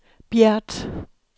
Bjert